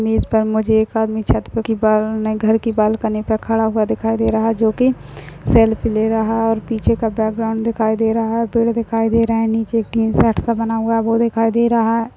Image पर मुझे एक आदमी छत पर की न घर की बालकनी पर खड़ा हुआ दिखाई दे रहा है जोकि सेल्फ़ी ले रहा है और पीछे का बैकग्राउंड दिखाई दे रहा है पेड़ दिखाई दे रहे है नीचे एक टीन शेड सा बना हुआ है वो दिखाई दे रहा है।